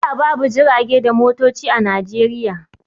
Da babu jirage da motoci a Najeriya.